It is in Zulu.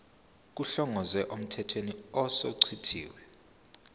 kuhlongozwe emthethweni osuchithiwe